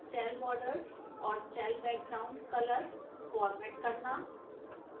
cell borders और cell background colors format करना